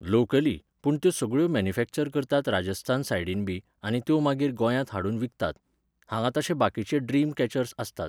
Locally, पूण त्यो सगळ्यो मॅन्युफॅक्चर करतात राजस्थान सायडीनबी आनी त्यो मागीर गोंयांत हाडून विकतात. हांगां तशे बाकिचे ड्रिम कॅचर्स आसतात